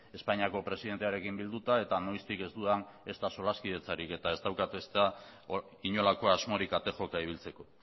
espainiako presidentearekin bilduta eta noiztik ez dudan ezta solaskidetzarik eta ez daukat ezta inolako asmorik ate joka ibiltzeko